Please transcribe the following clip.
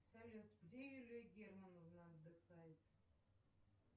салют где юлия германовна отдыхает